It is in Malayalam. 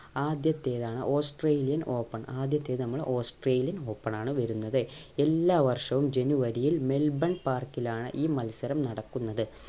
ആദ്യത്തേത് ആണ് australian open ആദ്യത്തേത് നമ്മൾ australian open ആണ് വരുന്നത് എല്ലാ വർഷവും ജനുവരിയിൽ മെൽബൺ park ലാണ് ഈ മത്സരം നടക്കുന്നത്